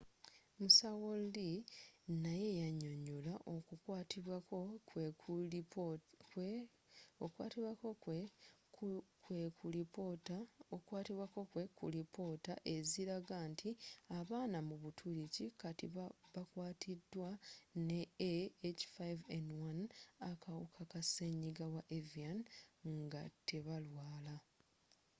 musawo lee naye yanyonyola oku kwatibwako kwe ku lipoota eziraga nti abaana mu butuluki kati bakwaatiddwa ne ah5n1 akawuka ka senyiga wa avian nga tebalwala